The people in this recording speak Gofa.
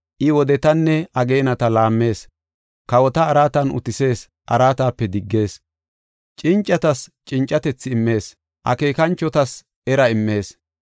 I wodetanne ageenata laammees; kawota araatan utisees; araatape diggees. Cincatas cincatethi immees; akeekanchotas era immees.